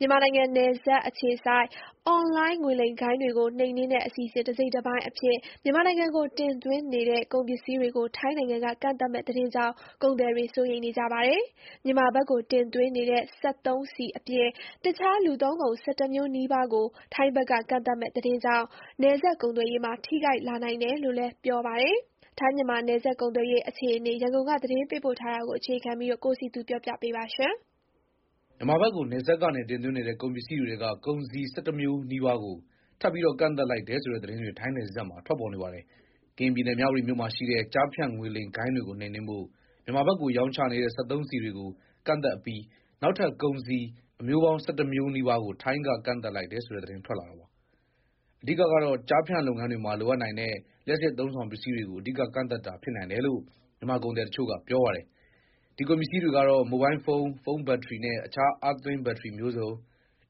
မြန်မာနိုင်ငံ နယ်စပ်အခြေစိုက် အွန်လိုင်း ငွေလိမ်ဂိုဏ်းတွေကို နှိမ်နင်းတဲ့ အစီအစဉ် တစိတ်တပိုင်း အဖြစ် မြန်မာနိုင်ငံကိုတင်သွင်းနေတဲ့ ကုန်ပစ္စည်းတွေကို ထိုင်းနိုင်ငံကကန့်သတ်မယ့်သတင်းကြောင့် ကုန်သည်တွေ စိုးရိမ်နေကြပါတယ်။ မြန်မာဘက်ကိုတင်သွင်းနေတဲ့စက်သုံးဆီအပြင် အခြား လူသုံးကုန် ၁၁ မျိုးနီးပါးကို ထိုင်းဘက်က ကန့်သတ်မယ့်သတင်းကြောင့် နယ်စပ်ကုန်သွယ်ရေး ထိခိုက်လာ နိုင်တယ်လို့လည်း ပြောပါတယ်။ ထိုင်း-မြန်မာ နယ်စပ်ကုန်သွယ်ရေး အခြေအနေ ရန်ကုန်က သတင်းပေးပို့ ထားတာကို အခြေခံပြီး တင်ပြထားပါတယ်။ မြန်မာဘက်ကို နယ်စပ်ကနေသွင်းနေတဲ့ ကုန်ပစ္စည်းတွေထဲက ကုန်စည် ၁၁ မျိုးနီးပါးကို ထပ်ပြီး ကန့်သတ်လိုက်တယ်ဆိုတဲ့သတင်းတွေ ထိုင်းနယ်စပ်မှာ ထွက်ပေါ်နေပါတယ်။ ကရင်ပြည်နယ်၊ မြဝတီမြို့မှာရှိတဲ့ ကျားဖြန့်ငွေလိမ်ဂိုဏ်းတွေကို နှိမ်နင်းဖို့ မြန်မာဘက်ကို ရောင်းချနေတဲ့ စက်သုံးဆီတွေကိုကန့်သတ်အပြီး နောက်ထပ် ကုန်စည်ပေါင်း ၁၁ မျိုးနီးပါးကို ထိုင်းက ကန့်သတ်လိုက်တယ်ဆိုတဲ့ သတင်းထွက်လာတာပါ။ အဓိက,ကတော့ ကျားဖြန့်လုပ်ငန်းတွေမှာ လိုအပ်နိုင်တဲ့ လျှပ်စစ်အသုံးအဆောင်ပစ္စည်းတွေကို ကန့်သတ်တာဖြစ်နိုင်တယ်လို့ မြန်မာကုန်သည်တချို့က ပြောပါတယ်။ ဒီပစ္စည်းတွေကတော့ မိုဘိုင်းဖုန်း၊ ဖုန်းဘက်ထရီနဲ့ အခြားအားသွင်း ဘက်ထရီမျိုးစုံ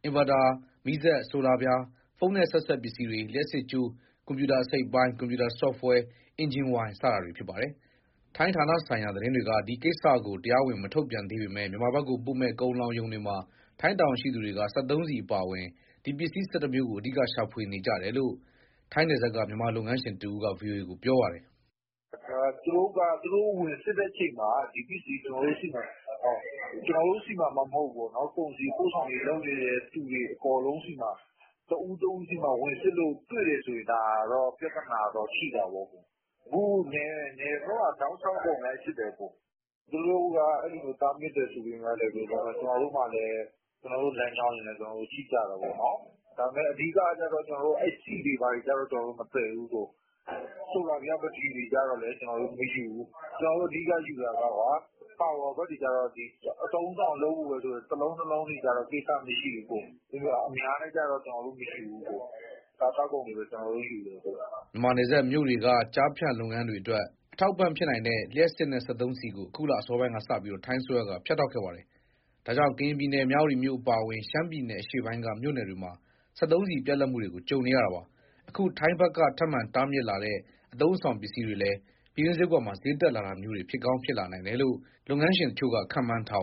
၊ အင်ဗာတာ၊ မီးစက်၊ ဆိုလာပြား၊ ဖုန်းနဲ့ဆက်စပ်ပစ္စည်တွေ၊ လျှပ်စစ်ကြိုး၊ ကွန်ပျူတာအစိတ်အပိုင်း၊ ကွန်ပျူတာဆော့ဖ်ဝဲ၊ အင်ဂျင်ဝိုင် စတာတွေ ဖြစ်ပါတယ်။ ထိုင်းဌာနဆိုင်ရာ သတင်းတွေက ဒီကိစ္စကို တရားဝင် မထုတ်ပြန်သေးပေမဲ့ မြန်မာဘက်ကိုပို့မဲ့ ကုန်လှောင်ရုံတွေမှာ ထိုင်းတာဝန်ရှိသူတွေက စက်သုံးဆီအပါအဝင် ဒီပစ္စည်း ၁၁ မျိုးကို အဓိက ရှာဖွေကြတယ်လို့ ထိုင်းနယ်စပ်က မြန်မာလုပ်ငန်းရှင်တဦးက ဗွီအိုအေကို ပြောပါတယ်။ "သူတို့က သူတို့ဝင်စစ်တဲ့အချိန်မှာ ဒီပစ္စည်းကျနော်တို့ဆီမှာ၊ ကျနော်တို့ဆီမှာမှမဟုတ်ဘူး။ ကုန်စည်ပို့ဆောင်ရေးလုပ်နေသူတွေ အကုန်လုံးဆီမှာ၊ တဦးချင်းစီမှာ ဝင်စစ်လို့တွေ့ရင် ဒါ ပြဿနာတော့ ရှိတာပေါ့။ အခု နယ်ဘက်မှာ တောက်လျှောက် အကုန်လိုက်စစ်တယ်။ သူတို့က အဲလိုတားမြစ်တယ်ဆိုပေမဲ့လည်း ကျနော်တို့မှာလည်း ကျနော်တို့လမ်းကြောင်းတွေနဲ့ ကျနော်တို့ ရှိကြတာပေါ့နော်။ ဒါပေမဲ့ အဓိကတော့ ဆီတွေဘာတွေ ကျနော်တို့ မသယ်ဘူး။ ဆိုလာပြား ဘက်ထရီတွေကျလည်း မယူဘူး။ ကျနော်တို့ အဓိကယူတာက power pack တွေက အသုံးအဆောင်အတွက် တလုံးနှစ်လုံးတွေက ကိစ္စမရှိဘူး။ အများနဲ့က ကျနော်တို့မယူဘူး။ စားသောက်ကုန်တွေပဲ ကျနော်တို့ယူတယ်။" မြန်မာနယ်စပ်မြို့တွေက ကျားဖြန့်လုပ်ငန်းတွေအတွက် အထောက်အပံ့ဖြစ်နိုင်တဲ့ လျှပ်စစ်နဲ့ စက်သုံး ဆီကို အခုလ အစောပိုင်းကစပြီး ထိုင်းအစိုးရက ဖြတ်တောက်ခဲ့ပါတယ်။ ဒါကြောင့် ကရင်ပြည်နယ် မြဝတီမြို့အပါအဝင်၊ ရှမ်းပြည်နယ် အရှေ့ပိုင်းက မြို့နယ်တွေမှာ စက်သုံးဆီ ပြတ်လပ်မှုတွေကို ကြုံနေရတာပါ။ အခု ထိုင်းဘက်က ထပ်မံ တားမြစ်လာတဲ့ အသုံးအဆောင်ပစ္စည်းတွေလည်း ပြည်တွင်းစျေးကွက်မှာ စျေးတက်လာတာမျိုးတွေ ဖြစ်ကောင်း ဖြစ်နိုင်တယ်လို့ လုပ်ငန်းတချို့က ခန့်မှန်းထားပါတယ်